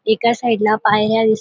एका साइड ला पायऱ्या दिस --